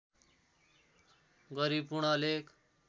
गरी पूर्ण लेख